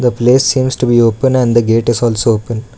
The place seems to be open and gate is also open.